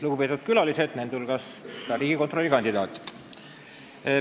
Lugupeetud külalised, nende hulgas riigikontrolöri kandidaat!